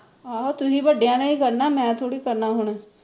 ਆਹੋ ਤੁਸੀ ਵੱਡਿਆ ਨੇ ਹੀ ਕਰਨਾ ਮੈ ਥੋੜੀ ਕਰਨਾ ਹੁਣ